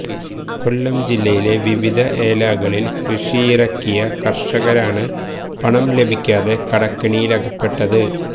കൊല്ലം ജില്ലയിലെ വിവിധ ഏലാകളില് കൃഷിയിറക്കിയ കര്ഷകരാണ് പണം ലഭിക്കാതെ കടക്കെണിയിലകപ്പെട്ടത്